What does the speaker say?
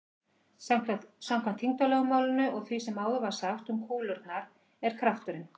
Samkvæmt þyngdarlögmálinu og því sem áður var sagt um kúlurnar er krafturinn